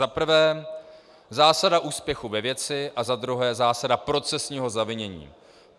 Za prvé zásada úspěchu ve věci a za druhé zásada procesního zavinění.